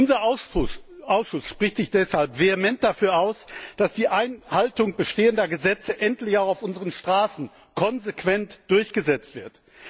Unser Ausschuss spricht sich deshalb vehement dafür aus, dass die Einhaltung bestehender Gesetze endlich auch auf unseren Straßen konsequent durchgesetzt wird!